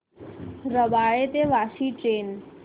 रबाळे ते वाशी ट्रेन